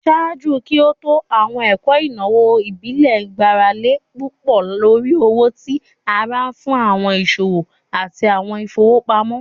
Ṣaaju ki o to, awọn eto inawo ibile gbarale pupọ lori owo ti ara fun awọn iṣowo ati awọn ifowopamọ.